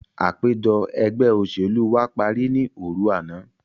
Àpèjọ ẹgbẹ́ òṣèlú wa parí ní òru àná.